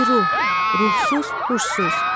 Biruh, ruhsuz, huşsuz.